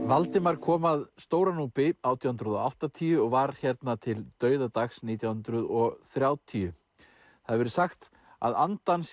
Valdimar kom að Stóra Núpi átján hundruð og áttatíu og var hérna til dauðadags nítján hundruð og þrjátíu það hefur verið sagt að andi hans